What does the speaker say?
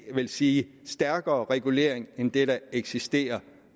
vil sige stærkere regulering end det der eksisterer